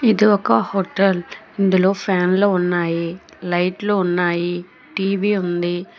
ఇది ఒక హోటల్ ఇందులో ఫ్యాన్లు ఉన్నాయి లైట్లోలు ఉన్నాయి టీవీ ఉంది.